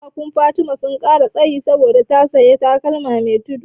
Ƙafafuna Fatima sun ƙara tsayi saboda ta sanya takalmi me tudu.